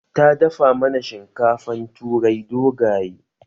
Ta dafa mana shinkafan turai dogaye